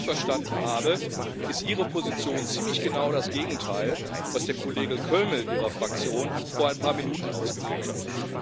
Wenn ich Sie richtig verstanden habe, ist Ihre Position ziemlich genau das Gegenteil von dem, was der Kollege Kölmel Ihrer Fraktion vor ein paar Minuten ausgeführt hat.